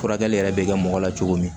Furakɛli yɛrɛ bɛ kɛ mɔgɔ la cogo min